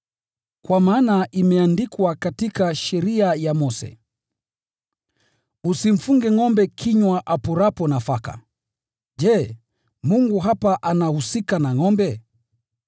Kwa maana imeandikwa katika Sheria ya Mose: “Usimfunge maksai kinywa apurapo nafaka.” Je, Mungu hapa anahusika na ngʼombe?